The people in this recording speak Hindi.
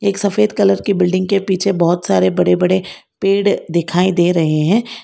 सफेद कलर की बिल्डिंग के पीछे बहोत सारे बड़े बड़े पेड़ दिखाई दे रहे हैं।